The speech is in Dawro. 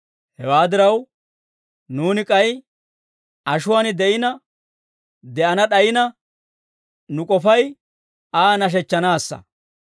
Hewaa diraw, nuuni k'ay ashuwaan de'ina de'ana d'ayina, nu k'ofay Aa nashechchanaassa.